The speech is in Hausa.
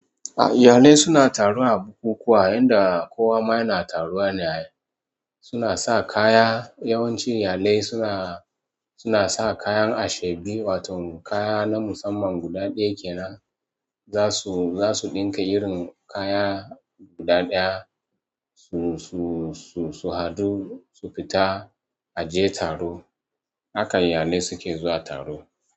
Ya ne suna taru a bukukuwa? Yanda kowa ma yana yaruwa ne ai suna sa kaya, yawanci iyalai suna, suna sa kayan ashebi wato kaya na musamman guda ɗaya kenan. Zasu, zasu ɗinka irin kaya guda ɗaya su, su, su, su haɗu su fita a je taro. Haka iyalai suke zuwa taro.